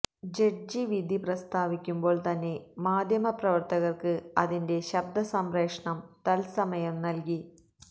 judge വിധി പ്രസ്താവിക്കുമ്പോള് തന്നെ മാധ്യമപ്രവര്ത്തകര്ക്ക് അതിന്റെ ശബ്ദസംപ്രേഷണം തത്സമയം നല്കി